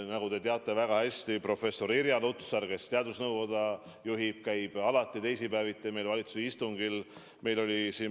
Nagu te väga hästi teate, professor Irja Lutsar, kes teadusnõukoda juhib, käib alati teisipäeviti valitsuse istungil.